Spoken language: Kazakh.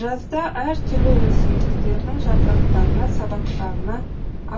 жазда әр түрлі өсімдік тердің жапырақтарына сабақтарына